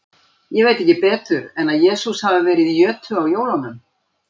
Ég veit ekki betur en að Jesús hafi verið í jötu á jólunum.